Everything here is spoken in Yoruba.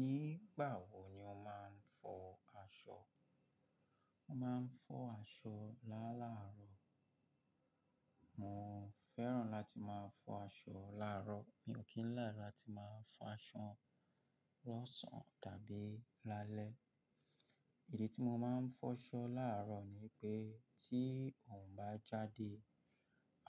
Ni igba wo ni oo maa n fo aso. Mo máa ń fọ aṣọ láàlárọ̀. Mo fẹ́ràn láti máa fọ aṣọ làárọ̀. Mi ò kí ń lára ti máa fọ aṣọ lọ́sàn-án tàbí lálẹ́. Ìdí tí mo máa ń fọṣọ làárọ̀ ni pé tí òrun bá jáde,